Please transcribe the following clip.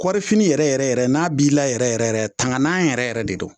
Kɔɔrifini yɛrɛ yɛrɛ yɛrɛ n'a b'i la yɛrɛ yɛrɛ yɛrɛ tangana yɛrɛ yɛrɛ de don